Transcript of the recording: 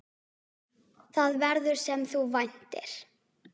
Það verður, sem þú væntir.